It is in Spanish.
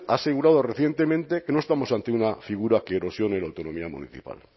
ha asegurado recientemente que no estamos ante una figura que erosione la autonomía municipal